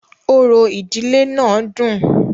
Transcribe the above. Orò ìdílé náà dùn-ùn.